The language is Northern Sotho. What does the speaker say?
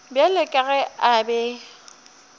bjalo ka ge a be